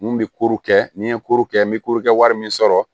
N kun bɛ koro kɛ ni n ye koro kɛ n bɛ korokɛ wari min sɔrɔ